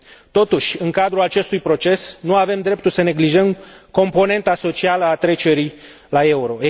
Totuși, în cadrul acestui proces nu avem dreptul să neglijăm componenta socială a trecerii la euro.